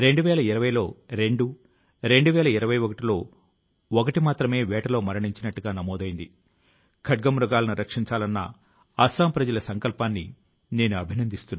గత కొన్ని నెలలు గా పర్వతం నుంచి మైదానాల వరకు ఒక సమాజం నుంచి మరొక సమాజం వరకు రాష్ట్రం లోని ప్రతి చోటా దీనిని ప్రజలు హృదయపూర్వకం గా స్వీకరించారు